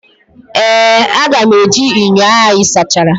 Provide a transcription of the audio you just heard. Ee, aga m eji ṅyọ ahụ ị sachara.